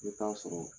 I bɛ taa sɔrɔ